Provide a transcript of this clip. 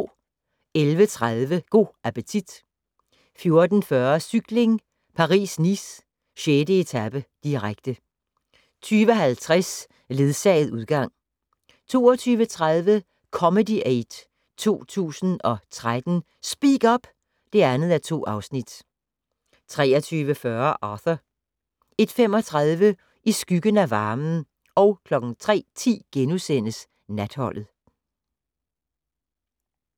11:30: Go' appetit 14:40: Cykling: Paris-Nice - 6. etape, direkte 20:50: Ledsaget udgang 22:30: Comedy Aid 2013 - Speak-up! (2:2) 23:40: Arthur 01:35: I skyggen af varmen 03:10: Natholdet *